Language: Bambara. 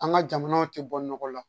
An ka jamanaw tɛ bɔ nɔgɔ la